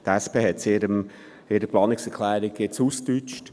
Die SP hat dies in ihrer Planungserklärung ausgedeutscht.